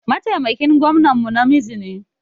Mataimakin gwamnan mu namiji ne.